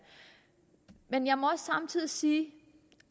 men jeg må også samtidig sige